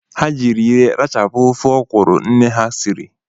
Ha jịri ire ha rachapu ofe ọkwụrụ nne ha sịri